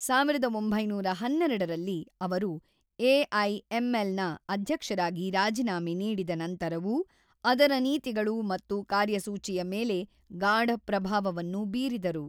೧೯೧೨ ರಲ್ಲಿ ಅವರು ಎಐಎಂಎಲ್‌ನ ಅಧ್ಯಕ್ಷರಾಗಿ ರಾಜೀನಾಮೆ ನೀಡಿದ ನಂತರವೂ ಅದರ ನೀತಿಗಳು ಮತ್ತು ಕಾರ್ಯಸೂಚಿಯ ಮೇಲೆ ಗಾಢ ಪ್ರಭಾವವನ್ನು ಬೀರಿದರು.